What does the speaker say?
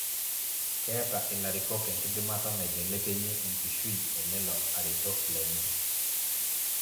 Keeta ilarikok enkidimata naibelekenyie enkishui elelo aretok lenye